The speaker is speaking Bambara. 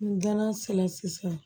N dala sera sisan